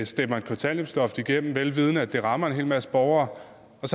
stemmer et kontanthjælpsloft igennem vel vidende at det rammer en hel masse borgere og